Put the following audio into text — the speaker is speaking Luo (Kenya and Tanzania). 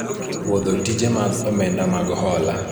pwodho tije mag omenda mag hola